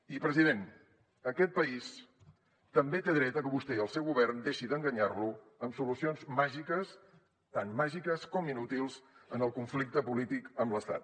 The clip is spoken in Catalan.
i president aquest país també té dret a que vostè i el seu govern deixin d’enganyar lo amb solucions màgiques tan màgiques com inútils en el conflicte polític amb l’estat